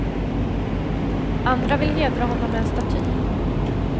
Andra vill hedra honom med en staty.